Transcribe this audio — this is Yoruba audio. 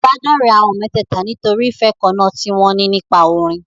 Ìbádọ́rẹ̀ẹ́ àwọn mẹ́tẹ̀ẹ̀ta nítorí ìfẹ́ kan náà tí wọn ní nípa orin.